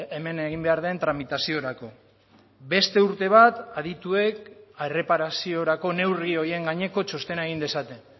hemen egin behar den tramitaziorako beste urte bat adituek erreparaziorako neurri horien gaineko txostena egin dezaten